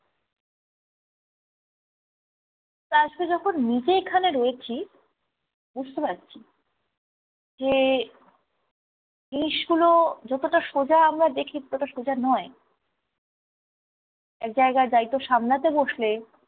তারসাথে যখন নিজে এখানে রয়েছি বুঝতে পারছি যে জিনিসগুলো যতটা সোজা আমরা দেখি ততটা সোজা নয়। একজায়গায় দায়িত্ব সামলাতে বসলে